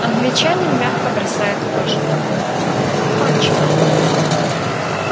англичанин мягко бросает вожжи кончено